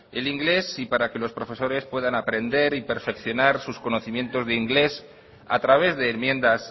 el inglés y para que los profesores puedan aprender y perfeccionar sus conocimientos de inglés a través de enmiendas